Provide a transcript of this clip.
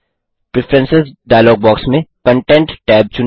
preference dialog box में content tab चुनें